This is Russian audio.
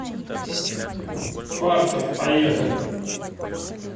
фартов поехали